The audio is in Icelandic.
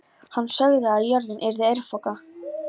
Hann sagði að jörðin yrði örfoka.